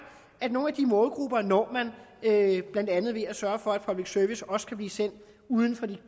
at nogle af de målgrupper når man blandt andet ved at sørge for at public service også kan blive sendt uden for de